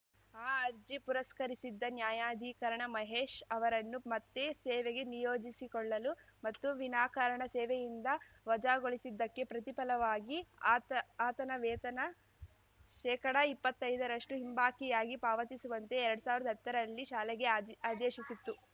ಆ ಅರ್ಜಿ ಪುರಸ್ಕರಿಸಿದ್ದ ನ್ಯಾಯಾಧಿಕರಣ ಮಹೇಶ್‌ ಅವರನ್ನು ಮತ್ತೆ ಸೇವೆಗೆ ನಿಯೋಜಿಸಿಕೊಳ್ಳಲು ಮತ್ತು ವಿನಾಕಾರಣ ಸೇವೆಯಿಂದ ವಜಾಗೊಳಿಸಿದ್ದಕ್ಕೆ ಪ್ರತಿಫಲವಾಗಿ ಆತ ಆತನ ವೇತನ ಶೇಕಡಇಪ್ಪತ್ತೈದರಷ್ಟುಹಿಂಬಾಕಿಯಾಗಿ ಪಾವತಿಸುವಂತೆ ಎರಡ್ ಸಾವಿರ್ದಾ ಹತ್ತರಲ್ಲಿ ಶಾಲೆಗೆ ಆದಿ ಆದೇಶಿಸಿತ್ತು